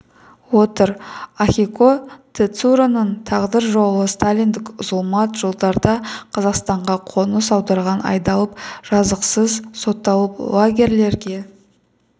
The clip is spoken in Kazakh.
отыр ахико тецуроның тағдыр жолы сталиндік зұлмат жылдарда қазақстанға қоныс аударған айдалып жазықсыз сотталып лагерлерге